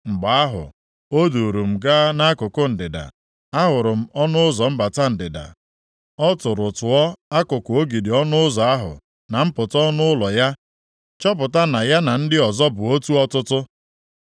Mgbe ahụ, o duuru m gaa nʼakụkụ ndịda, a hụrụ m ọnụ ụzọ mbata ndịda. Ọ tụrụ tụọ akụkụ ogidi ọnụ ụzọ ahụ na mpụta ọnụ ụlọ ya, chọpụta na ya na ndị ọzọ bụ otu ọtụtụ.